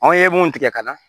Anw ye mun tigɛ ka na